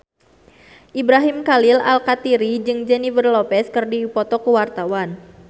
Ibrahim Khalil Alkatiri jeung Jennifer Lopez keur dipoto ku wartawan